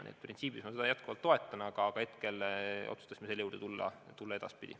Nii et printsiibis ma seda toetan, aga esialgu otsustasime selle juurde tulla edaspidi.